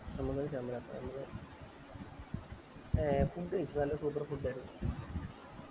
നമ്മള് ഒരു നമ്മള് ഏർ food കൈച്ചു നല്ല super food ആയിരുന്നു